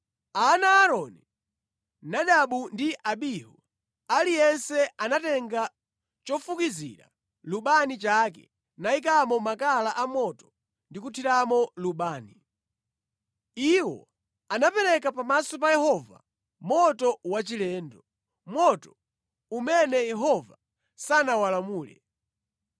Ana a Aaroni, Nadabu ndi Abihu, aliyense anatenga chofukizira lubani chake nayikamo makala a moto ndi kuthiramo lubani. Iwo anapereka pamaso pa Yehova moto wachilendo, moto umene Yehova sanawalamule.